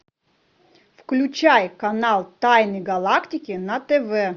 включай канал тайны галактики на тв